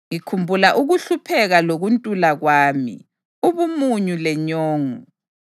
Ngikhumbula ukuhlupheka lokuntula kwami, ubumunyu lenyongo.